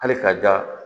Hali ka ja